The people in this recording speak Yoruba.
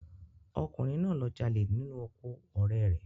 Ọkùnrin náà lọ jalè nínú oko ọ̀rẹ́ rẹ